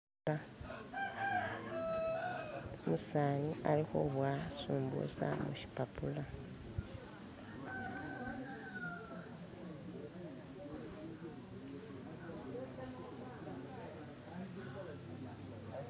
umusani alihubowa sumbusa mushipapula